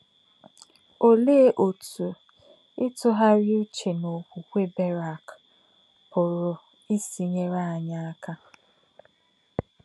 Òlèé òtú ìtùghàrí ǔchè n’òkwùkwè Bèràk pùrù ísì nyèrè ányị̀ àkà?